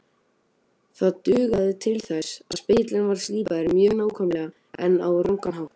Það dugði til þess að spegillinn var slípaður mjög nákvæmlega en á rangan hátt.